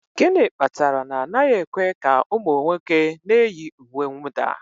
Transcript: Gịnị kpatara na anaghị ekwe ka ụmụ nwoke na-eyi uwe mwụda?